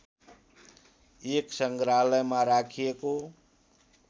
एक संग्रहालयमा राखिएको